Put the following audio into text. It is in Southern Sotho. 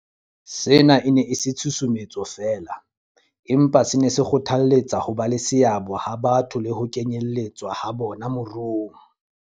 Sena e ne e se tshusumetso feela, empa se ne se kgothalletsa hoba le seabo ha batho le ho kenyeletswa ha bona moruong.